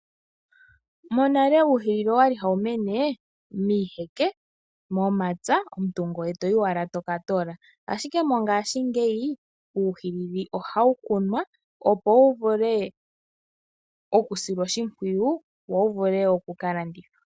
Monale uuhilili owali hawu mene miiheke, momapya omuntu ngoye toyi owala toka toola ashike mongashingeyi, uuhilili ohawu kunwa opo wu vule oku silwa oshimpwiyu wo wu vule oku ka landithwa.